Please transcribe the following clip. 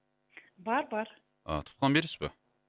бар бар а тұтқаны бересіз ба